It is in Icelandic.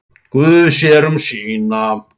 Guð sér um sína.